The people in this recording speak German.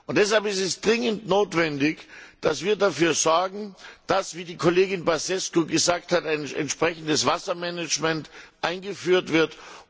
Und deshalb ist es dringend notwendig, dass wir dafür sorgen, dass wie die Kollegin Băsescu gesagt hat ein entsprechendes Wassermanagement eingeführt wird.